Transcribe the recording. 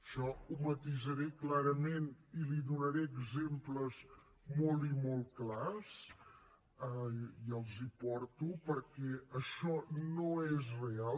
això ho matisaré clarament i li’n donaré exemples molt i molt clars i els hi porto perquè això no és real